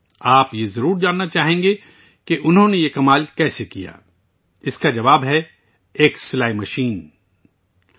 آپ جاننا چاہیں گے کہ انھوں نے یہ کیسے کیا! اس کا جواب ہے ایک سلائی مشینسے